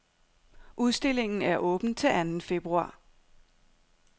Udstillingen er åben til anden februar.